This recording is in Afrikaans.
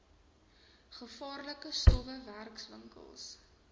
gevaarlike stowwe werkwinkels